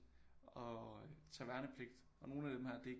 At tage værnepligt og nogle af dem her det er